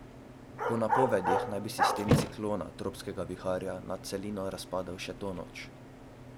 Po napovedih naj bi sistem ciklona, tropskega viharja, nad celino razpadel še to noč.